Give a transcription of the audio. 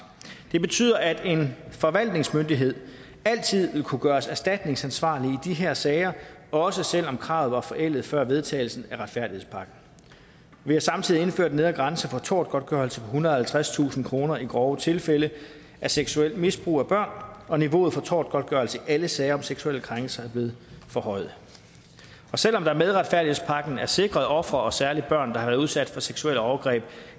det betyder at en forvaltningsmyndighed altid vil kunne gøres erstatningsansvarlig i de her sager også selv om kravet var forældet før vedtagelsen af retfærdighedspakken vi har samtidig indført en nedre grænse for tortgodtgørelse på ethundrede og halvtredstusind kroner i grove tilfælde af seksuelt misbrug af børn og niveauet for tortgodtgørelse i alle sager om seksuelle krænkelser er blevet forhøjet selv om der med retfærdighedspakken er sikret ofre og særlig børn der har været udsat for seksuelle overgreb